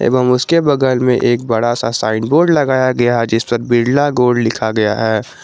एवं उसके बगल में एक बड़ा सा साइन बोर्ड लगाया गया है जिस पर बिरला गोल्ड लिखा गया है।